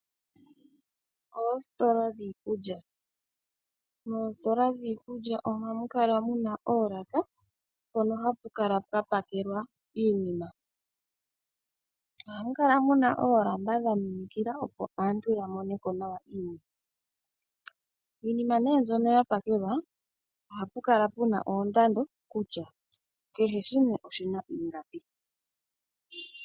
Oositola dhiikulya, oha mu kala mu na oolaka mpono hapu kala pwa pakelwa iinima, oha mu kala mu na oolamba dha minikila opo aantu ya moneko nawa. Iinima nee mbyono ya pakelwa oha pu kala pu na oondando kutya kehe shimwe oshina ingapi.